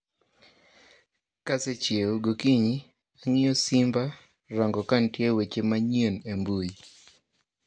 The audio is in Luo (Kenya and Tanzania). Ka asechiew gokinyi, ang'iyo simba rango ka nitie weche manyien e mbui